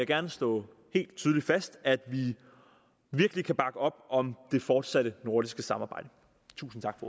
gerne slå tydeligt fast er at vi virkelig kan bakke op om det fortsatte nordiske samarbejde tusind tak